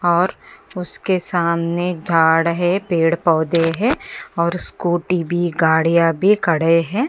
और उसके सामने झाड है पेड़ पोधे है और स्कूटी भी गाड़ियाँ भी खड़े है।